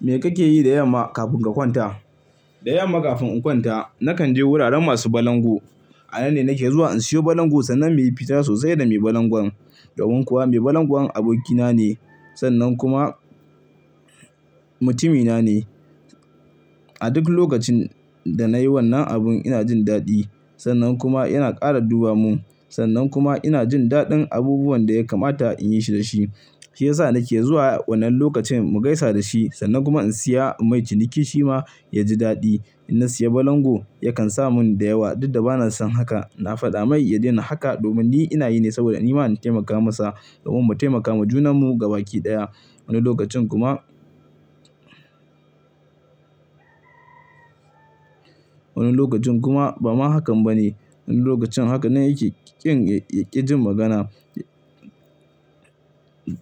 Me kake yi da yamma kafin ka kwanta? Da yamma kafin in kwanta nakan je wuraren masu balangu. A nan ne nake zuwa in sayo balangu sannan mu yi fira sosai da mai balangon. Domin kuwa mai balangon abokina ne sannan kuma mutumina ne. A duk lokacin da na yi wannan abun ina jin daɗi. Sannan kuma yana ƙara duba mun. Sannan kuma ina jin daɗin abubuwan da ya kamata in yi su Shi ya sa nake zuwa wannan lokacin mu gaisa da shi sannan kuma in saya in yi ciniki shi ma ya ji daɗi. Idan na saya balangu yakan sa min da yawa duk da bana son haka. Na faɗa masa ya daina haka domin ni ina yin sa ne saboda ni ma na taimaka masa domin mu taimaka ma junanmu gaba ɗaya. Wani lokacin kuma, wani lokacin kuma ba ma hakan ba ne. Wani lokacin haka nan yake baya jin magana.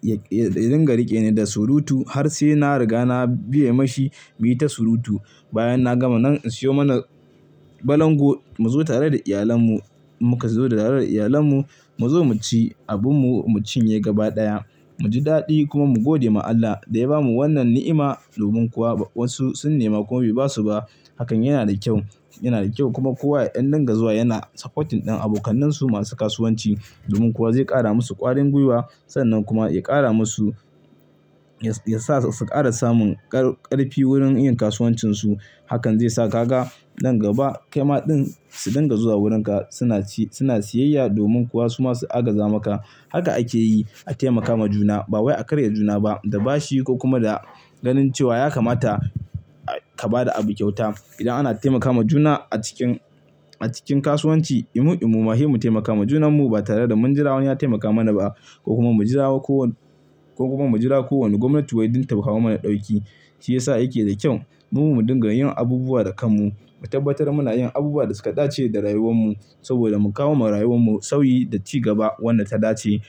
Ya dinga rike ni da surutu har sai na riga na biye masa mu yi ta surutu. Bayan na gama nan in sayo mana balangu mu zo tare da iyalan mu. Mu ka zo tare da iyalen mu, mu zo mu ci abin mu mu cin ye gaba ɗaya. Mu ji daɗi kuma mu gode ma Allah da ya bamu wannan ni'ima. Domin kuwa wasu sun nema kuma bai ba su ba. Na faɗa masa ya daina haka domin ni ina yin sa ne saboda ni ma na taimaka masa domin mu taimaka wa junanmu gaba ɗaya Wani lokacin kuma, domin kuwa zai ƙara musu ƙarfin gwiwa sannan kuma ya ƙara musu, ya sa su ƙara samun ƙarfi wurin yin kasuwancinsu. Hakan zai sa ka ga nan gaba, kai ma din su dinga zuwa wurin ka suna ci, suna siyayya domin kuwa su ma su agaza maka. Haka ake yi a taimaka wa juna ba wai a karya juna ba. Da bashi ko kuma da ganin cewa ya kamata ka ba da abu kyauta. Idan ana taimaka wa juna a cikin, kasuwanci, imu, imu ma sai mu taimaka wa juna ba tare da mun jira wani ya taimaka mana ba. Ko kuma mu jira ko wace gwamnati wai don ta kawo mana ɗauki. Shi yasa yake da kyau mu dinga yin abubuwa da kanmu. Mu tabbatar muna yin abubuwa da suka dace da rayuwarmu saboda mu kawo wa rayuwarmu sauyi da ci gaba wanda ya dace.